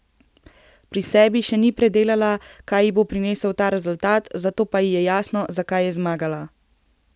Pri sebi še ni predelala, kaj ji bo prinesel ta rezultat, zato pa ji je jasno, zakaj je zmagala.